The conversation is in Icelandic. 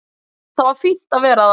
Það var fínt að vera þar.